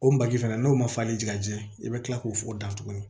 O baji fana n'o ma falen ja i bɛ kila k'o da tuguni